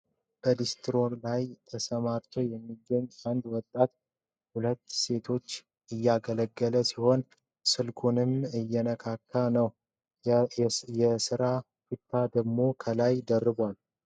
በሊስትሮይ ላይ ተሰማርቶ የሚገኝ የአንድ ወጣት ሁለት ሴቶችን እያገለገለ ሲሆን ። ስልኩንም እየነካካ ነው የስራ ቱታ ደሞ ከላይ ደርባል ።